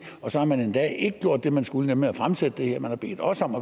og så har man endda ikke gjort det man skulle nemlig at fremsætte det her man har bedt os om